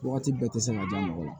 Wagati bɛɛ tɛ se ka diya mɔgɔ la